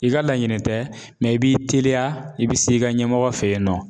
I ka laɲini tɛ i b'i teliya i bɛ se i ka ɲɛmɔgɔ fɛ yen nɔ.